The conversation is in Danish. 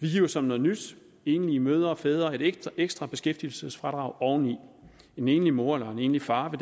vi giver som noget nyt enlige mødre og fædre et ekstra beskæftigelsesfradrag oveni en enlig mor eller en enlig far vil